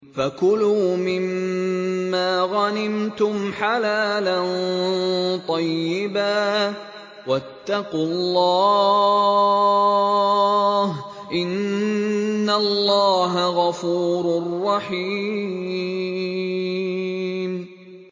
فَكُلُوا مِمَّا غَنِمْتُمْ حَلَالًا طَيِّبًا ۚ وَاتَّقُوا اللَّهَ ۚ إِنَّ اللَّهَ غَفُورٌ رَّحِيمٌ